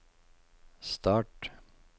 start